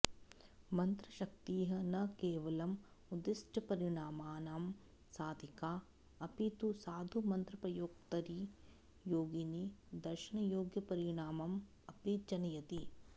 मन्त्रशक्तिः न केवलम् उद्दिष्टपरिणामानां साधिका अपि तु साधुमन्त्रप्रयोक्तरि योगिनि दर्शनयोग्यपरिणामम् अपि जनयति